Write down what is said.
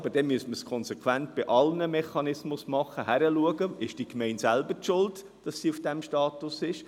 Aber dann müsste man es konsequent bei allen Mechanismen machen, also hinschauen, ob eine Gemeinde selber schuld ist, dass sie in diesem Status ist.